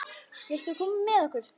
Viltu koma með okkur?